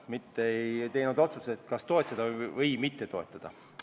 Me ei teinud otsust, kas toetada või mitte toetada.